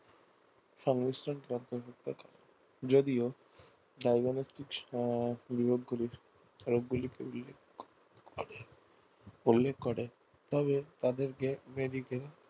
সংমিশ্রনকে অন্তর্ভুক্ত যদিও করে তবে তাদেরকে medical